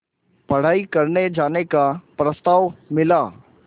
पढ़ाई करने जाने का प्रस्ताव मिला